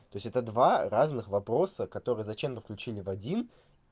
то есть это два разных вопроса которые зачем-то включили в один